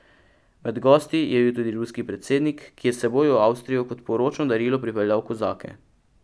Med gosti je bil tudi ruski predsednik, ki je s seboj v Avstrijo kot poročno darilo pripeljal kozake.